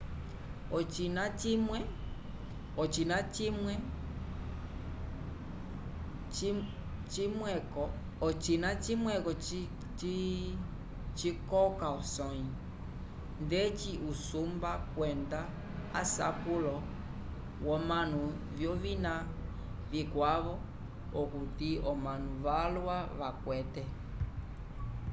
ocina cimweko cikoka osõyi ndeci usumba kwenda asapulo vyomanu vyovina vikwavo okuti omanu valwa vakwete